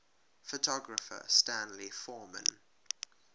photographer stanley forman